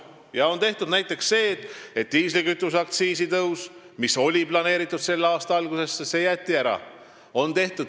Ja näiteks diislikütuse aktsiisitõus, mis oli planeeritud selle aasta algusesse, jäeti ära.